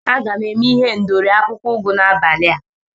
Aga m eme ihendori akwụkwọ ugu n'abali a.